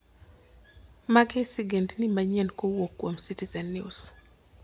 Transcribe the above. mage sigendni manyien mowuok kuom Citizen News